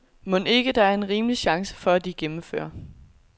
Mon ikke der er en rimelig chance for at de gennemfører.